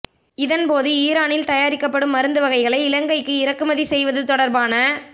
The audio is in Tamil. இதன் போது ஈரானில் தயாரிக்கப்படும் மருந்து வகைகளை இலங்கைக்கு இறக்குமதி செய்வது தொடர்பான